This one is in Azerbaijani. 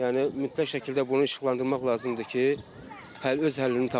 Yəni mütləq şəkildə bunu işıqlandırmaq lazımdır ki, öz həllini tapsın.